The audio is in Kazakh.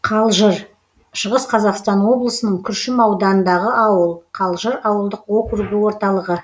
қалжыр шығыс қазақстан облысының күршім ауданындағы ауыл қалжыр ауылдық округі орталығы